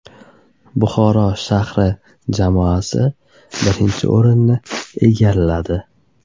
Buxoro shahri jamoasi birinchi o‘rinni egalladi.